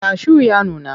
Kashu ya nuna.